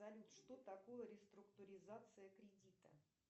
салют что такое реструктуризация кредита